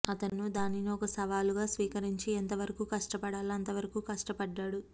అతను దానిని ఒక సవాలుగా స్వీకరించి ఎంతవరకు కష్టపడాలో అంతవరకు కష్టపడ్డాడు